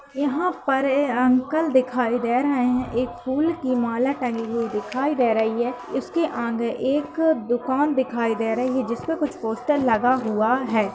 यहाँ पर एक अंकल दिखाई दे रहे हैं। एक फुल कि माला तंगी हुई दिखाई दे रही है। उसके आगे एक दुकान दिखाई दे रही है। जिसमें कुछ पोस्टर लगा हुआ है।